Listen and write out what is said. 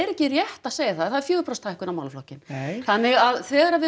ekki rétt að segja það það er fjögurra prósenta hækkun á málaflokkinn nei þannig að þegar við